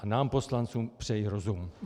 A nám poslancům přeji rozum.